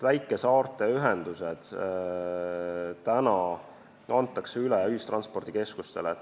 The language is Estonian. Väikesaarte ühendused antakse üle ühistranspordikeskustele.